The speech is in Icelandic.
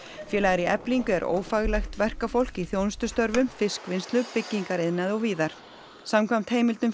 félagar í Eflingu er ófaglært verkafólk í þjónustustörfum fiskvinnslu byggingariðnaði og víðar samkvæmt heimildum